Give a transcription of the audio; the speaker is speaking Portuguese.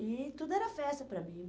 E tudo era festa para mim.